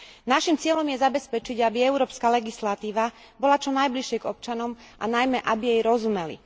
Našim cieľom je zabezpečiť, aby európska legislatíva bola čo najbližšie k občanom a najmä aby jej rozumeli.